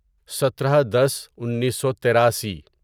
سترہ دس انیسو تیراسی